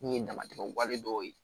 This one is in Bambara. Min ye damatɛmɛ wale dɔw ye